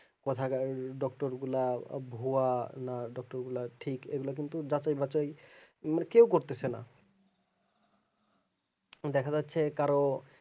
কোথাকার doctor গুলা ভুয়া না doctor গুলা ঠিক এগুলা কিন্তু যাচাই বাচাই মানে কাও করতেছে না দেখাযাচ্ছে কারো